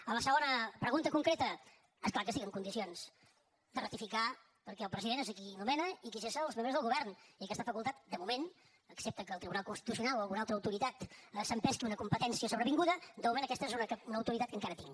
a la segona pregunta concreta és clar que estic en condicions de ratificar perquè el president és qui nomena i qui cessa els membres del govern i aquesta facultat de moment excepte que el tribunal constitucional o alguna altra autoritat s’empesqui una competència sobrevinguda de moment aquesta és una autoritat que encara tinc